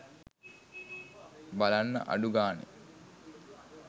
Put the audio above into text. බලන්න අඩු ගානේ